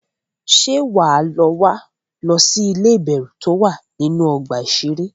Ṣé wà á lọ wá lọ sí ilé ìbẹ̀rù tó wà nínú ọgbà iṣẹré?